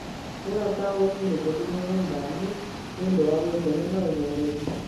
Kũũra taũni-inĩ gũthiĩ mĩgũnda-inĩ nĩ ũndũ wa gwĩkenia wa ũhoreri.